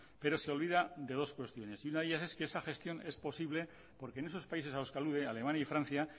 pero se olvida de dos cuestiones y una de ellas es que esa gestión es posible porque en esos países a los que alude alemania y francia